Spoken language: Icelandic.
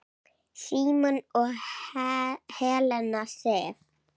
Símon og Helena Sif.